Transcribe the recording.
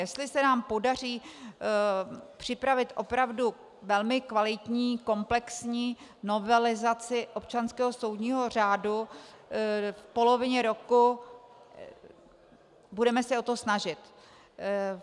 Jestli se nám podaří připravit opravdu velmi kvalitní komplexní novelizaci občanského soudního řádu v polovině roku, budeme se o to snažit.